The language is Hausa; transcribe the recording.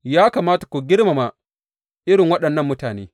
Ya kamata ku girmama irin waɗannan mutane.